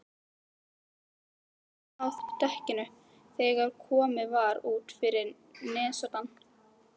Straumurinn hefur náð dekkinu þegar komið var út fyrir nesoddann.